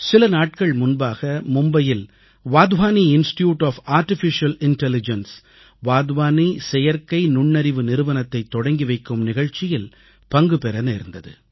சில நாட்கள் முன்பாக மும்பையில் Wadhwani institute of artificial intelligence Wadhwani செயற்கை நுண்ணறிவு நிறுவனத்தைத் தொடக்கி வைக்கும் நிகழ்ச்சியில் பங்குபெற நேர்ந்தது